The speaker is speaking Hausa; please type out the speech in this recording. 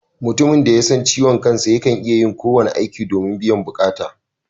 Mutumin da ya san ciwon kansa yakan iya yin kowane aiki domin biyan bukata